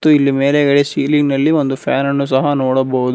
ಹಾಗು ಇಲ್ಲಿ ಮೇಲೆಗಡೆ ಶಿಲಿಂಗ್ ನಲ್ಲಿ ಒಂದು ಫ್ಯಾನ್ ಅನ್ನು ಸಹ ನೋಡಬಹುದು.